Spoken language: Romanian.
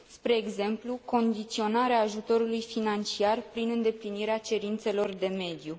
Spre exemplu, condiționarea ajutorului financiar prin îndeplinirea cerințelor de mediu.